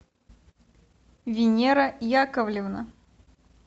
венера яковлевна